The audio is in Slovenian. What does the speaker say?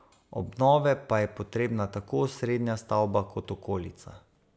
Obnove pa je potrebna tako osrednja stavba kot okolica.